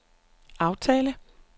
aftale